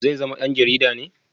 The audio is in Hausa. Zai zama dan jarida ne?